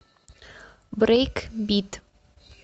брейкбит